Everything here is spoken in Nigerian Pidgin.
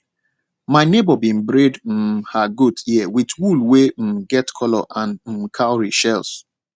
my neighbour been braid um her goat ear with wool wey um get colour and um cowrie shells